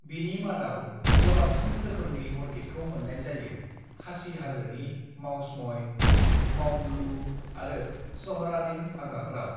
"बिनि मादाव गोबांसिन रोखोमनि अर्किडखौ मोननाय जायो, खासी हाजोनि मावसमई, मावमलुह आरो स'हरारिम हाग्राफोराव।"